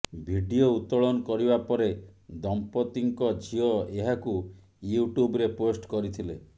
video ଉତ୍ତୋଳନ କରିବା ପରେ ଦମ୍ପତିଙ୍କ ଝିଅ ଏହାକୁ ୟୁଟ୍ୟୁବରେ ପୋଷ୍ଟ କରିଥିଲେ